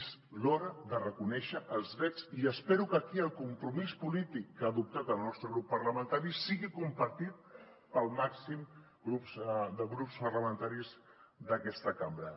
és l’hora de reconèixer els drets i espero que aquí el compromís polític que ha adoptat el nostre grup parlamentari sigui compartit pel màxim de grups parlamentaris d’aquesta cambra